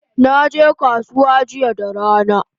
Naje kasuwa jiya da rana